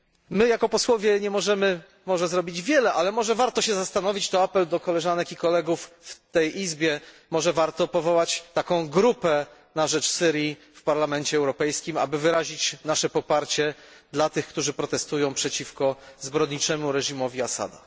My jako posłowie nie możemy może zrobić wiele, ale może warto się zastanowić tu apel do koleżanek i kolegów w tej izbie czy warto powołać taką grupę na rzecz Syrii w Parlamencie Europejskim, aby wyrazić nasze poparcie dla tych, którzy protestują przeciwko zbrodniczemu reżimowi Assada.